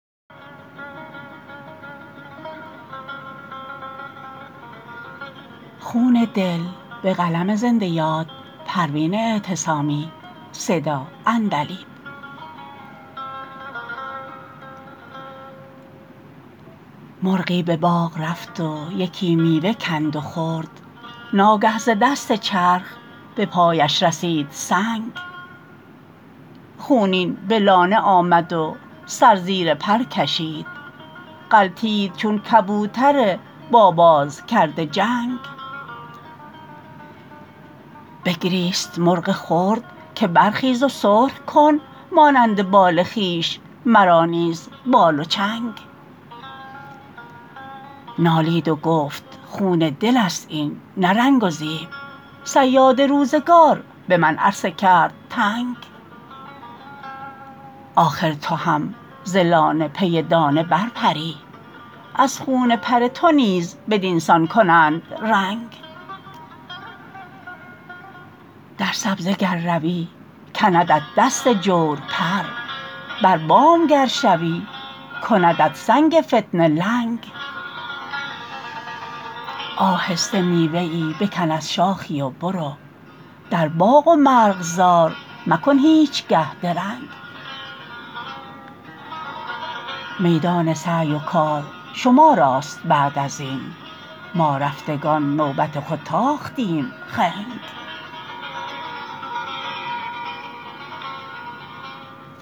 مرغی به باغ رفت و یکی میوه کند و خورد ناگه ز دست چرخ به پایش رسید سنگ خونین به لانه آمد و سر زیر پر کشید غلتید چون کبوتر با باز کرده جنگ بگریست مرغ خرد که برخیز و سرخ کن مانند بال خویش مرا نیز بال و چنگ نالید و گفت خون دلست این نه رنگ و زیب صیاد روزگار به من عرصه کرد تنگ آخر تو هم ز لانه پی دانه برپری از خون پر تو نیز بدینسان کنند رنگ در سبزه گر روی کندت دست جور پر بر بام گر شوی کندت سنگ فتنه لنگ آهسته میوه ای بکن از شاخی و برو در باغ و مرغزار مکن هیچگه درنگ میدان سعی و کار شما راست بعد ازین ما رفتگان به نوبت خود تاختیم خنگ